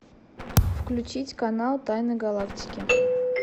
включить канал тайны галактики